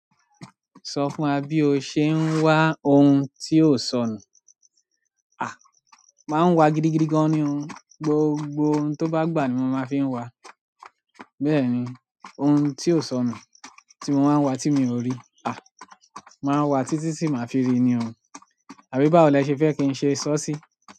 Sọ fún wa bí o ṣe ń wa ohun tí ò sọnù. À! Máa ń wa gidigidi gan ni o. Gbogbo ohun tó bá gbà ní mo máa ń fi ǹ wa. Bẹ́ẹ̀ni, ohun tí ó sọnù tí mo wá ń wa tí mi ò rí. À! Màá wá títí tí màá fi ri ni o. Àbí báwo lẹ ṣe fẹ́ kí n ṣe sọ ọ́ sí?